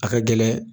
A ka gɛlɛn